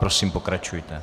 Prosím, pokračujte.